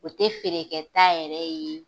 O tɛ feerekɛ ta yɛrɛ ye